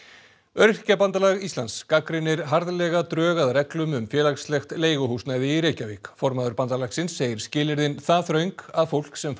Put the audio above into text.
Öryrkjabandalag Íslands gagnrýnir harðlega drög að reglum um félagslegt leiguhúsnæði í Reykjavík formaður bandalagsins segir skilyrðin það þröng að fólk sem